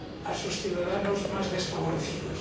a sus ciudadanos más desfavorecidos.